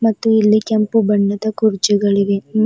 ಮತ್ತು ಇಲ್ಲಿ ಕೆಂಪು ಬಣ್ಣದ ಕುರ್ಚಿಗಳು ಇವೆ.